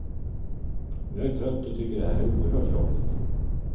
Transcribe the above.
Jag är trött och tycker det här är oerhört jobbigt.